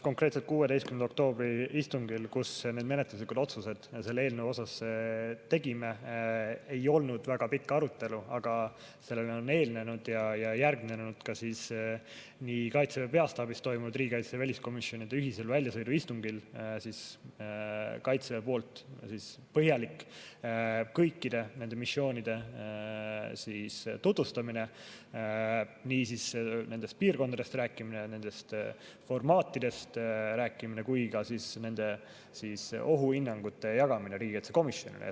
Konkreetselt 16. oktoobri istungil, kus me need menetluslikud otsused selle eelnõu kohta tegime, ei olnud väga pikka arutelu, aga sellele on eelnenud ja järgnenud Kaitseväe peastaabis toimunud riigikaitse‑ ja väliskomisjoni ühisel väljasõiduistungil Kaitseväe poolt põhjalik kõikide nende missioonide tutvustamine, nendest piirkondadest rääkimine, nendest formaatidest rääkimine ja nende ohuhinnangute jagamine riigikaitsekomisjonile.